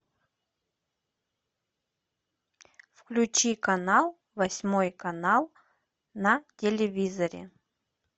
включи канал восьмой канал на телевизоре